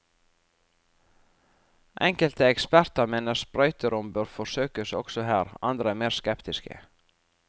Enkelte eksperter mener sprøyterom bør forsøkes også her, andre er mer skeptiske.